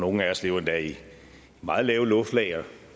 nogle af os lever endda i meget lave luftlag og